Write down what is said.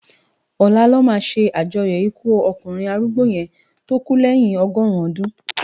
Òlá lò má sé ájòyò ikú òkúnrin árúgbó yèn tó kú lèyin ọgọrun òdún